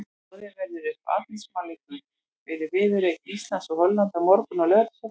Boðið verður upp á andlitsmálun fyrir viðureign Íslands og Hollands á morgun á Laugardalsvelli.